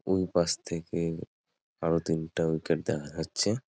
ঐপাশ থেকে এর আরও তিনটা উইকেট দেখা যাচ্ছে-এ।